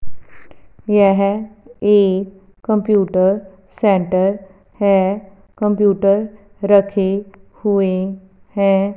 यह एक computer centre है कंप्यूटर रखे हुए हैं।